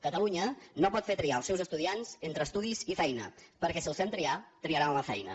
catalunya no pot fer triar els seus estudiants entre estudis i feina perquè si els fem triar triaran la feina